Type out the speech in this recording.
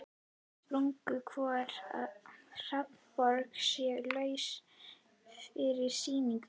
Spurning hvort að Hafnarborg sé laus fyrir sýningu?